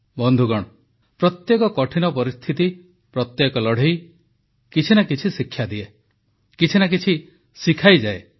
ବନ୍ଧୁଗଣ ପ୍ରତ୍ୟେକ କଠିନ ପରିସ୍ଥିତି ପ୍ରତ୍ୟେକ ଲଢ଼େଇ କିଛି ନା କିଛି ଶିକ୍ଷା ଦିଏ କିଛି ନା କିଛି ଶିଖାଇଯାଏ